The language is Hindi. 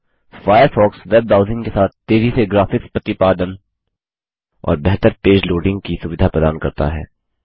फ़ायरफ़ॉक्स वेब ब्राउज़िंग के साथ तेज़ी से ग्राफिक्स प्रतिपादन और बेहतर पेज लोडिंग की सुविधा प्रदान करता है